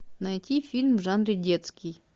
найти фильм в жанре детский